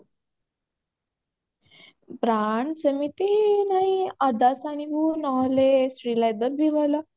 brand ସେମିତି ନାଇ Adidas ଆଣିବୁ sri leather ବି ଭଲ